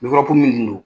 minnu don